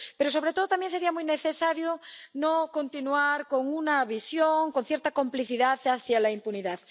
Pero, sobre todo, también sería muy necesario no continuar con una visión, con cierta complicidad hacia la impunidad.